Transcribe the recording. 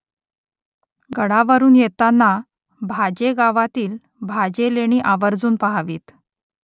गडावरून येतांना भाजे गावातील भाजे लेणी आवर्जून पहावीत